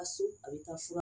Ka so a bɛ taa fura